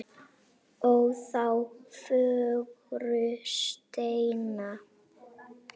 ó þá fögru steina